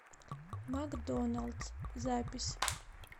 макдоналдс запись